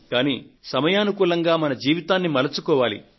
కానీ సమయానుకూలంగా మన జీవితాన్ని మలుచుకోవాలి